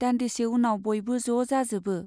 दान्दिसे उनाव बयबो ज' जाजोबो।